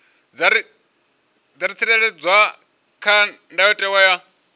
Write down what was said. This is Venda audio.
dza tsireledzwa kha ndayotewa ya